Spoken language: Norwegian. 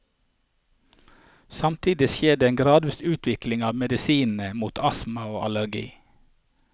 Samtidig skjer det en gradvis utvikling av medisinene mot astma og allergi.